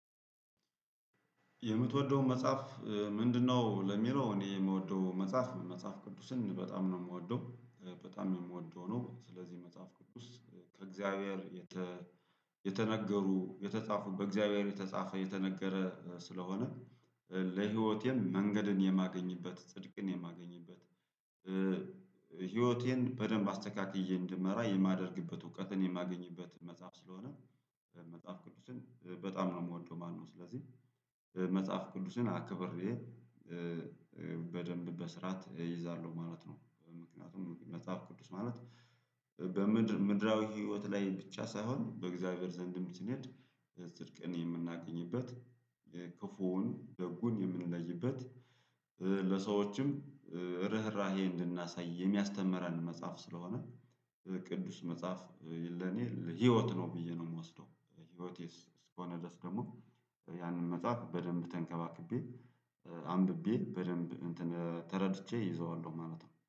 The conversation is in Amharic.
የምትወደው መጽሐፍ ምንድነው? ለሚለው እኔ የምወደው መጽሐፍ መጽሐፍ ቅዱስን በጣም ነው የምወደው። በጣም የምወደው ነው ስለዚህ መጽሐፍ ቅዱስ ከእግዚአብሔር የተነገሩ የተጻፉ በእግዚአብሔር የተጻፈ የተነገረ ስለሆነ ለህይወቴም መንገድን የማገኝበት ጽድቅን የማገኝበት። ህይወቴን በደንብ አስተካክዬ እንድመራ የማደርግበት እውቀትን የማገኝበት መጽሐፍ ስለሆነ። መጽሐፍ ቅዱስን በጣም ነው የምወደው ማለት ነው። ስለዚህ መጽሐፍ ቅዱስን አክብሬ በደንብ በስርዓት እይዛለሁ ማለት ነው። ምክንያቱም መጽሐፍ ቅዱስ ማለት በምድር በምድራዊ ህይወት ላይ ብቻ ሳይሆን በእግዚአብሔር ዘንድም ስንሄድ ጽድቅን የምናገኝበት ክፉውን ደጉን የምንለይበት። ለሰዎችም ርህራሄ እንድናሳይ የሚያስተምረን መጽሐፍ ስለሆነ። ቅዱስ መጽሐፍ ለኔ ህይወት ነው ብዬ ነው የምወስደው። ህይወቴስ እስከሆነ ድረስ ደግሞ ያንን መጽሐፍ በደንብ ተንከባክቤ አንብቤ በደንብ እንትን ተረድቼ እይዘዋለሁ ማለት ነው